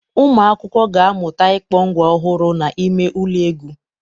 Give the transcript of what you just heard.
Ụmụ akwụkwọ ga-amụta ịkpọ ngwa ọhụrụ n'ime ụlọ egwu.